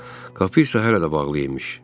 Qapı isə hələ də bağlı imiş.